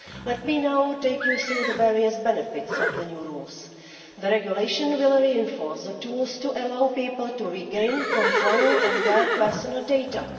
Let me now take you through the various benefits of the new rules. The regulation will reinforce the tools to allow people to regain control of their personal data.